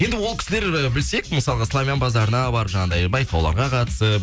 енді ол кісілер білсек мысалға славян базарына барып жаңағыдай байқауларға қатысып